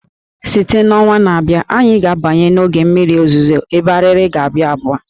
Site na ọnwa na-abịa, anyị ga-abanye n'oge mmiri ozuzo ebe Arịrị ga-aba ụba